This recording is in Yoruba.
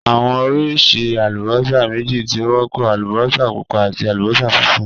Awọn oriṣi alubosa meji ti o wọpọ: alubosa pupa ati alubosa funfun.